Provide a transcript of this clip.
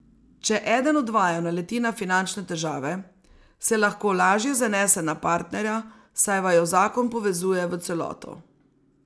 Če eden od vaju naleti na finančne težave, se lahko lažje zanese na partnerja, saj vaju zakon povezuje v celoto.